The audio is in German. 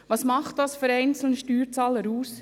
Was macht dies für den einzelnen Steuerzahler aus?